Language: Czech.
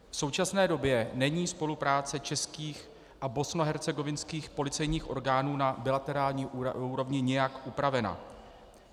V současné době není spolupráce českých a bosenskohercegovinských policejních orgánů na bilaterální úrovni nijak upravena.